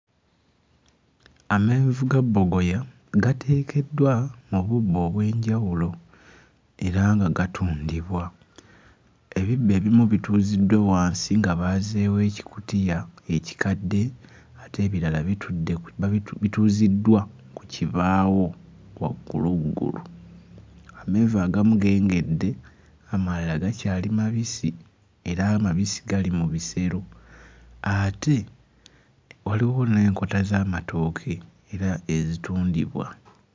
Amenvu ga bbogoya gateekeddwa mu bubbo obw'enjawulo era nga gatundibwa. Ebibbo ebimu bituuziddwa wansi nga baazeewo ekikutiya ekikadde ate ebirala bitudde babitu... bituuziddwa ku kibaawo wagguluggulu. Amenvu agamu gengedde, amalala gakyali mabisi era amabisi gali mu bisero ate waliwo n'enkota z'amatooke era ezitundibwa.